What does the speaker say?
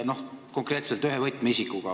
Konkreetselt olen rääkinud ühe võtmeisikuga.